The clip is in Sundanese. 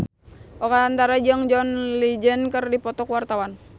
Oka Antara jeung John Legend keur dipoto ku wartawan